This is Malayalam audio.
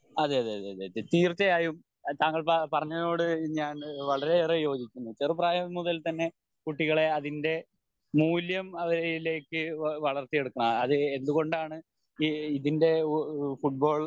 അതെയതെ അതെ തീർച്ചയായും താങ്കൾ പറഞ്ഞതിനോട് ഞാൻ വളരെയേറെ യോജിക്കുന്നു ചെറുപ്രായം മുതൽ തന്നെ കുട്ടികളെ അതിൻ്റെ മൂല്യം അയിലേക്ക് വളർത്തിയെടുക്കണം അത് എന്തുകൊണ്ടാണ് ഇതിൻ്റെ ഫുട്ബോൾ